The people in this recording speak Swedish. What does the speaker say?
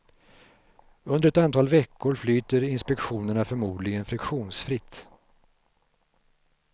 Under ett antal veckor flyter inspektionerna förmodligen friktionsfritt.